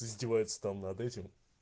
издевается сам над этим